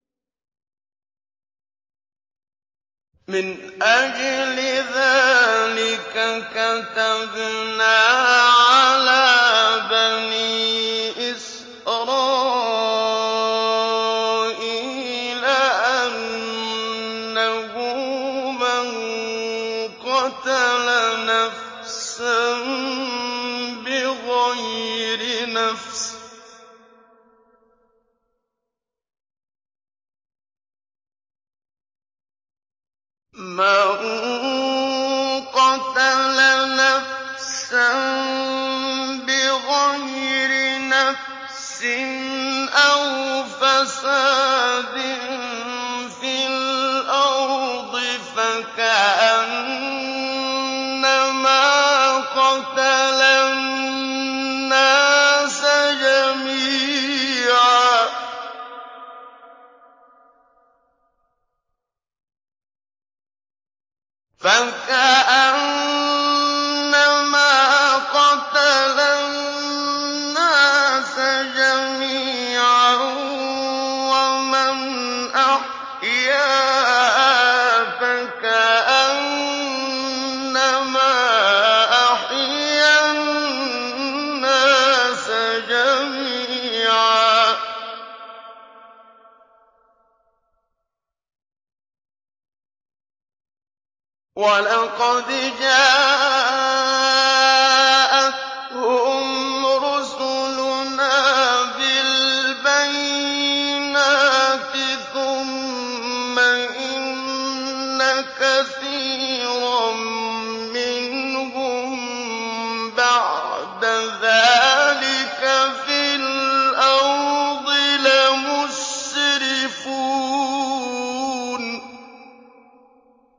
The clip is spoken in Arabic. مِنْ أَجْلِ ذَٰلِكَ كَتَبْنَا عَلَىٰ بَنِي إِسْرَائِيلَ أَنَّهُ مَن قَتَلَ نَفْسًا بِغَيْرِ نَفْسٍ أَوْ فَسَادٍ فِي الْأَرْضِ فَكَأَنَّمَا قَتَلَ النَّاسَ جَمِيعًا وَمَنْ أَحْيَاهَا فَكَأَنَّمَا أَحْيَا النَّاسَ جَمِيعًا ۚ وَلَقَدْ جَاءَتْهُمْ رُسُلُنَا بِالْبَيِّنَاتِ ثُمَّ إِنَّ كَثِيرًا مِّنْهُم بَعْدَ ذَٰلِكَ فِي الْأَرْضِ لَمُسْرِفُونَ